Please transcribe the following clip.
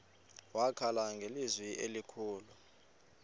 wakhala ngelizwi elikhulu